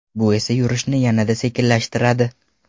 Bu esa yurishni yanada sekinlashtiradi.